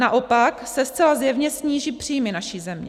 Naopak se zcela zjevně sníží příjmy naší země.